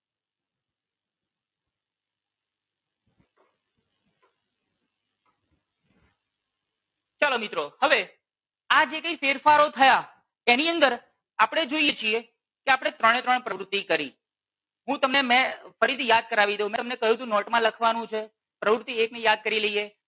ચાલો મિત્રો હવે આ જે કઈ ફેરફારો થયા એની અંદર આપણે જોઈએ છીએ કે આપણે ત્રણે ત્રણ પ્રવૃતિ કરી હું તમને મેં ફરીથી યાદ કરાવી દઉં હું તમને કહ્યું તું નોટ માં લખવાનું છે. પ્રવૃતિ એક ને યાદ કરી લઈએ.